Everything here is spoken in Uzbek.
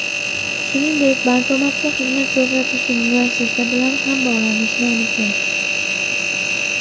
Shuningdek, bankomatga xizmat ko‘rsatuvchi muassasa bilan ham bog‘lanishni unutmang.